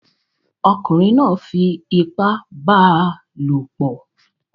ọkunrin náà fi ipá bá a lòpọ̀